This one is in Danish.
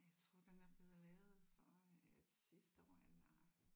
Jeg tror den er blevet lavet for øh sidste år eller